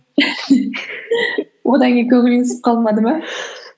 одан кейін көңілің түсіп қалмады ма